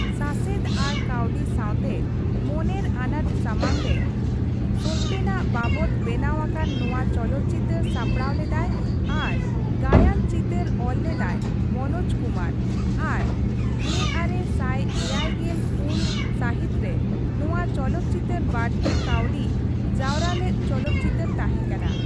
ᱥᱟᱥᱮᱫ ᱟᱨ ᱠᱟᱣᱰᱤ ᱥᱟᱶᱛᱮ ᱢᱚᱱᱮᱨ ᱟᱱᱟᱴ ᱥᱟᱢᱟᱝ ᱨᱮ ᱥᱚᱛᱭᱮᱱᱟᱜ ᱵᱟᱵᱚᱛ ᱵᱮᱱᱟᱣ ᱟᱠᱟᱱ ᱱᱚᱣᱟ ᱪᱚᱞᱚᱛ ᱪᱤᱛᱟᱹᱨ ᱥᱟᱯᱲᱟᱣ ᱞᱮᱫᱟᱭ ᱟᱨ ᱜᱟᱭᱟᱱ ᱪᱤᱛᱟᱹᱨ ᱚᱞ ᱞᱮᱫᱟᱭ ᱢᱚᱱᱳᱡ ᱠᱩᱢᱟᱨ ᱟᱨ ᱑᱙᱗᱔ ᱥᱟᱹᱦᱤᱛ ᱨᱮ ᱱᱚᱣᱟ ᱪᱚᱞᱚᱛ ᱪᱤᱛᱟᱹᱨ ᱵᱟᱹᱲᱛᱤ ᱠᱟᱹᱣᱰᱤ ᱡᱟᱣᱨᱟ ᱞᱮᱫ ᱪᱚᱞᱚᱛ ᱪᱤᱛᱟᱹᱨ ᱛᱟᱸᱦᱮᱠᱟᱱᱟ ᱾